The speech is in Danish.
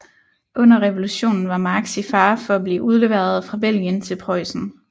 Under revolutionen var Marx i fare for at blive udleveret fra Belgien til Preussen